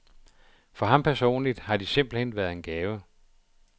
For ham personligt har de simpelt hen været en gave.